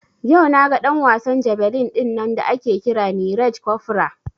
Yau naga ɗan wasan jabelin dinnan da ake kira Neeraj Cofra